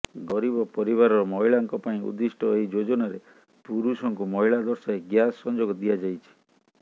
ଗରିବ ପରିବାରର ମହିଳାଙ୍କ ପାଇଁ ଉଦ୍ଦିଷ୍ଟ ଏହି ଯୋଜନାରେ ପୁରୁଷଙ୍କୁ ମହିଳା ଦର୍ଶାଇ ଗ୍ୟାସ ସଂଯୋଗ ଦିଆଯାଇଛି